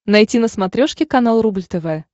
найти на смотрешке канал рубль тв